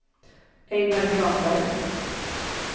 Ejnar Granberg